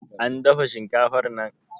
an dafa shinkafar nan